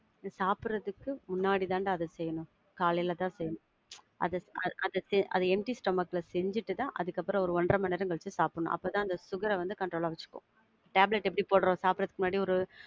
இத சாப்பிடுறதுக்கு முன்னாடி தாண்டா அத செய்யனும், காலையில தான் செய்யனும். அத, அத செய்~ அத empty stomach ல செஞ்சிட்டு தான் அதுக்கப்புறம் ஒரு ஒன்றரை மணி நேரம் கழிச்சி தான் சாப்பிடனும். அப்ப தான் அந்த sugar அ வந்து control ஆ வச்சிக்கும். tablet எப்படி போடுறோம்? சாப்புடறதுக்கு முன்னாடி ஒரு~